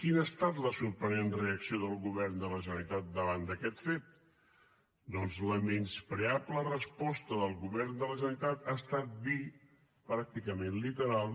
quina ha estat la sorprenent reacció del govern de la generalitat davant d’aquest fet doncs la menyspreable resposta del govern de la generalitat ha estat dir pràcticament literal